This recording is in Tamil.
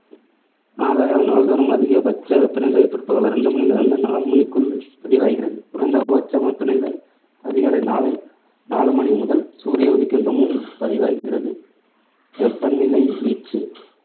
ஆகையால் நாள்தோறும் அதிக பட்ச வெப்பநிலை பிற்பகல் ரெண்டு மணியிலிருந்து நான்கு மணிக்குள் பதிவாகிறது. குறைந்த பட்ச வெப்பநிலை அதிகாலை நாலு நாலு மணிமுதல் சூரிய உதிக்கின்ற முன் பதிவாகிறது. வெப்பநிலை வீச்சு